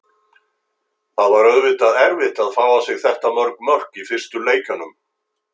Það var auðvitað erfitt að fá á sig þetta mörg mörk í fyrstu leikjunum.